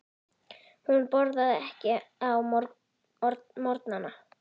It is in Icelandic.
Hún borðar ekki á morgnana.